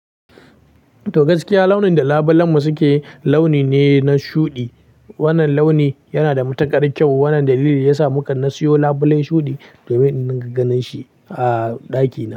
To gaskiya launin da labulen mu suke launi ne na shuɗi. Wannan launi yana da matukar kyau. Wannan dalili ya sa muka siyo labulen shuɗi domin in dinga ganin shi a ɗaki na.